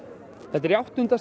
þetta er í áttunda